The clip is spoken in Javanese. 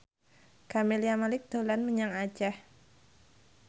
Camelia Malik dolan menyang Aceh